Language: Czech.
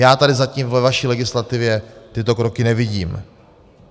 Já tady zatím ve vaší legislativě tyto kroky nevidím.